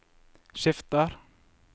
skifter